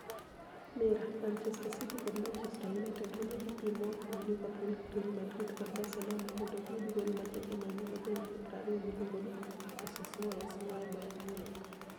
(Mirror) Manichester City kod Manichester Uniited romo gi piem moa kuom Liverpool, Real Madrid kod Barcelonia monido giyud gol ma ja Germaniy ma jahignii 20 miluonigo nii Moses Moes moa Bayerni Muniich.